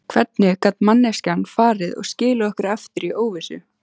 Hvernig gat manneskjan farið og skilið okkur eftir í óvissu?